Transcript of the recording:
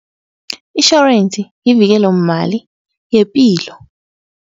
Itjhorensi yivikelomali yepilo.